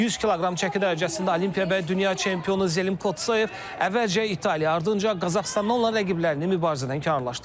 100 kq çəki dərəcəsində Olimpiya və dünya çempionu Zəlim Kocoyev əvvəlcə İtaliya, ardınca Qazaxıstandan olan rəqiblərini mübarizədən kənarlaşdırıb.